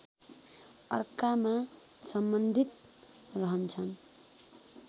अर्कामा सम्बन्धित रहन्छन